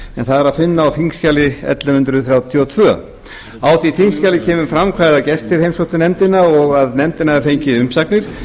en það er að finna á þingskjali ellefu hundruð þrjátíu og tvö á því þingskjali kemur fram hvaða gestir heimsóttu nefndina og að nefndin hafi fengið umsagnir